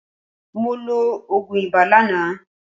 Mo lo òògùn ibà lánàá.